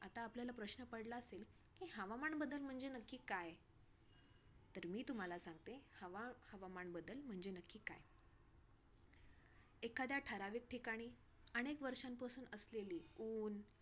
आता आपल्याला प्रश्न पडला असेल की हवामान बदल म्हणजे नक्की काय? तर मी तुम्हाला सांगते, हवा हवामान बदल म्हणजे नक्की काय. एखाद्या ठराविक ठिकाणी, अनेक वर्षांपासून असलेली, ऊन